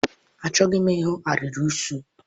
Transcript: Achọghim ihu arịrị eso.